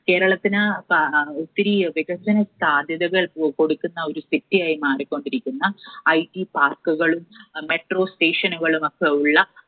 കേരളത്തിന് ഒത്തിരി വികസന സാധ്യതകൾ കൊടുക്കുന്ന ഒരു City യായി മാറിക്കൊണ്ടിരിക്കുന്ന, IT Park കളും Metro Station കളും ഒക്കെയുള്ള